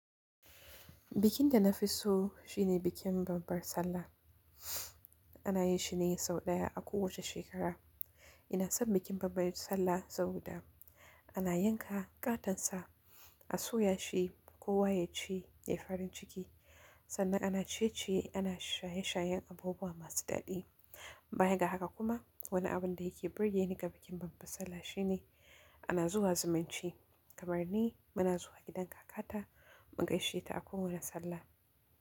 Bikin da nafi so shine bikin babbar sallah. Ana yin shi ne sau ɗaya a kowace shekara. Ina son bikin babbar sallah saboda ana yanka ƙatan sa, a soya shi kowa yaci ya yi farin ciki. Sannan ana ciye-ciye, ana shaye-shayen abubuwa masu daɗi. Bayan ga haka kuma, wani abun da yake burge ni ga bikin babbar sallah shine ana zuwa zumunci. Kamar ni muna zuwa gidan kakata mu gaishe ta a kowane sallah.